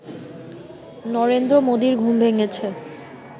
নরেন্দ্র মোদীর ঘুম ভেঙেছে